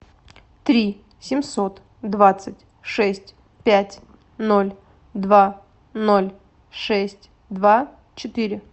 три семьсот двадцать шесть пять ноль два ноль шесть два четыре